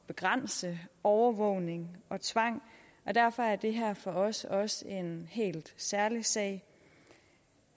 begrænse overvågning og tvang og derfor er det her for os også en helt særlig sag